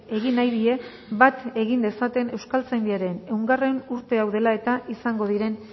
egin nahi die bat egin dezaten euskaltzaindiaren ehungarrena urte hau dela eta izango diren